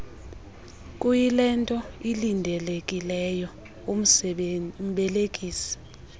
kuyilento ilindelekileyo umbelekisi